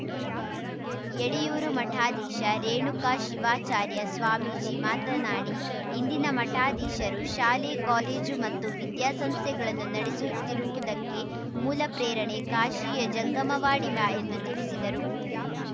ಯಡಿಯೂರು ಮಠಾಧೀಶ ರೇಣುಕಾ ಶಿವಾಚಾರ್ಯ ಸ್ವಾಮೀಜಿ ಮಾತನಾಡಿ ಇಂದಿನ ಮಠಾಧೀಶರು ಶಾಲೆ ಕಾಲೇಜು ಮತ್ತು ವಿದ್ಯಾಸಂಸ್ಥೆಗಳನ್ನು ನಡೆಸುತ್ತಿರುವುದಕ್ಕೆ ಮೂಲ ಪ್ರೇರಣೆ ಕಾಶಿಯ ಜಂಗಮವಾಡಿ ಮ ಎಂದು ತಿಳಿಸಿದರು